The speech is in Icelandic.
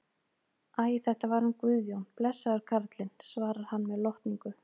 Æ, þetta var hann Guðjón, blessaður karlinn, svarar hann með lotningu.